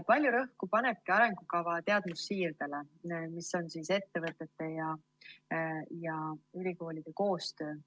Palju rõhku panebki arengukava teadmussiirdele, mis on ettevõtete ja ülikoolide koostöö.